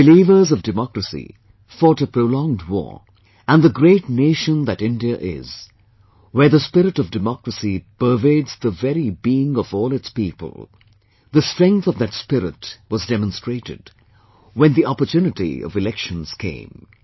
The believers of democracy fought a prolonged war, and the great nation that India is, where the spirit of democracy pervades the very being of all its people, the strength of that spirit was demonstrated when the opportunity of elections came